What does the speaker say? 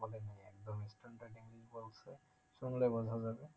শুনলে বোঝা যাবে